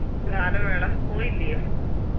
ഗാനമേള പൊയില്ല്യോ